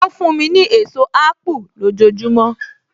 Ó fún mi ní èso apu lójojúmọ́.